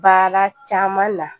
Baara caman na